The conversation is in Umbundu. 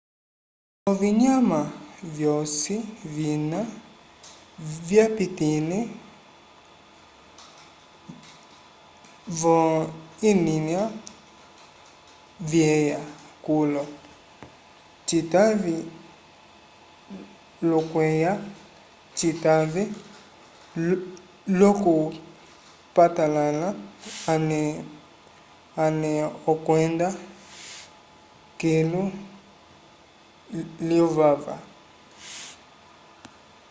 ovinyama vyosi vina vyapitĩlile v'oyilya veya kulo citave l'okuywa citave l'okupalãla ale ale okwenda kilu lyovava